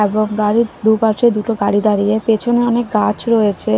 এবং বাড়ির দুপাশে দুটো গাড়ি দাঁড়িয়ে পেছনে অনেক গাছ রয়েছে।